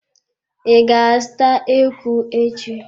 I ga-azụta eku echi.